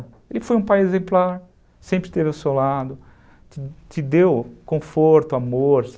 Ele foi um pai exemplar, sempre esteve ao seu lado, te deu conforto, amor.